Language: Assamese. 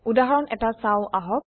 উদাহৰণ এটা চাওঁ আহক